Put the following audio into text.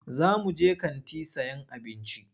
Za muje kanti sayan abinci.